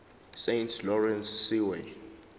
saint lawrence seaway